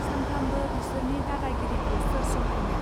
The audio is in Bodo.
सानफ्रामबो बिसोरनि दादा गिरिखौ सोर सहायनो